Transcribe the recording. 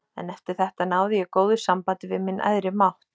En eftir þetta náði ég góðu sambandi við minn æðri mátt.